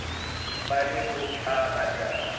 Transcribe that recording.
bo le ho o batang